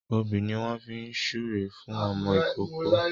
Òbí ni wọ́n fi ń súre fún ọmọ ìkóókó